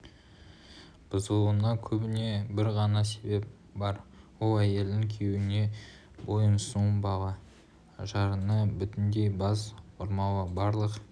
бұзылуына көбіне бір ғана себеп бар ол әйелдің күйеуіне бойұсынбауы жарына бүтіндей бас ұрмауы барлық